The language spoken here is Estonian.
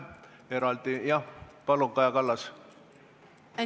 Jah, palun, Kaja Kallas!